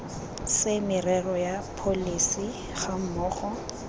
se merero ya pholesi gammogo